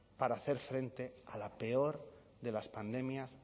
para hacer frente a la peor de las pandemias